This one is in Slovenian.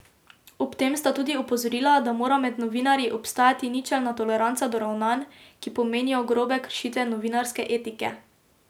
Ob tem sta tudi opozorila, da mora med novinarji obstajati ničelna toleranca do ravnanj, ki pomenijo grobe kršitve novinarske etike.